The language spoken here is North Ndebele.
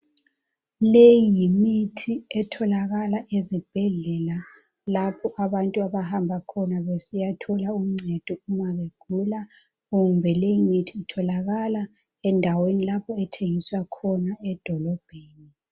Leyi imithi etholakala ezibhedlela lapho abantu abahamba khona besiyathola uncedo uma begula kumbe endaweni lapho ethengiswa khona edolobheni.